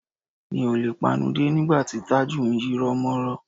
Mi ò le panudé nígbà tí Tájù ń yírọ́mọ́rọ́